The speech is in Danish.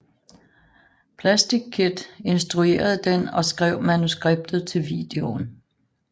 Plastic Kid instruerede den og skrev manuskriptet til videoen